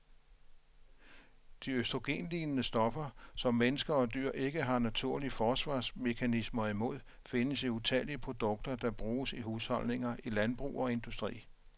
De østrogenlignende stoffer, som mennesker og dyr ikke har naturlige forsvarsmekanismer imod, findes i utallige produkter, der bruges i husholdninger, i landbrug og industri.